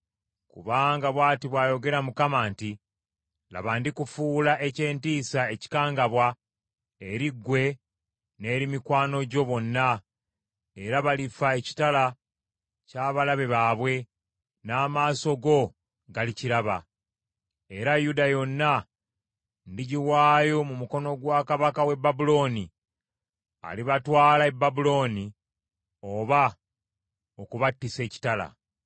Kubanga bw’ati bw’ayogera Mukama nti, ‘Laba, ndikufuula eky’entiisa, ekikangabwa, eri ggwe n’eri mikwano gyo bonna; era balifa ekitala ky’abalabe baabwe, n’amaaso go galikiraba, era Yuda yonna ndigiwaayo mu mukono gwa kabaka w’e Babulooni, alibatwala e Babulooni oba okubattisa ekitala.